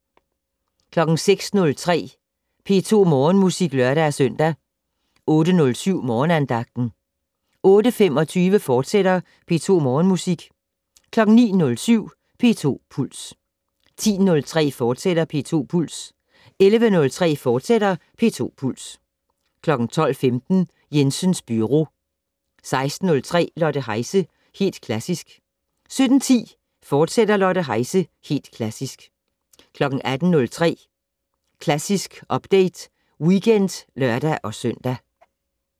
06:03: P2 Morgenmusik (lør-søn) 08:07: Morgenandagten 08:25: P2 Morgenmusik, fortsat 09:07: P2 Puls 10:03: P2 Puls, fortsat 11:03: P2 Puls, fortsat 12:15: Jensens Byro 16:03: Lotte Heise - Helt Klassisk 17:10: Lotte Heise - Helt Klassisk, fortsat 18:03: Klassisk Update Weekend (lør-søn)